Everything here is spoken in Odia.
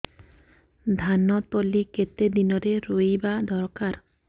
ଧାନ ତଳି କେତେ ଦିନରେ ରୋଈବା ଦରକାର